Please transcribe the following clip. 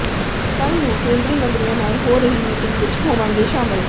ਕੱਲ੍ਹ ਨੂੰ ਕੇਂਦਰੀ ਮੰਤਰੀਆਂ ਨਾਲ ਹੋ ਰਹੀ ਮੀਟਿੰਗ ਵਿੱਚ ਹੋਵਾਂਗੇ ਸ਼ਾਮਲ